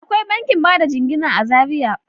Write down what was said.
Akwai bankin bada jingina a Zariya.